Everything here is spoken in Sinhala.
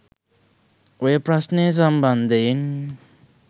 ඔය ප්‍රශ්නය සම්බන්ධයෙන්